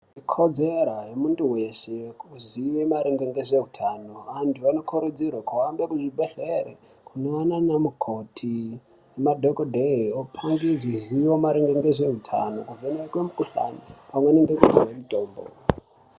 Ikodzera yemuntu weshe kuziye maringe nezveutano. Vantu vanokurudzirwe kuhambe kuzvibhedhlera kunoona anamukoti nemadhogodheya opandirwe zvizere ngezveutano, ovhenekwe mikuhlane pamwe nekuhinwe mitombo.